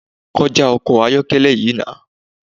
Kọjá ọkọ ayọ́kẹ́lẹ́ yìí nah!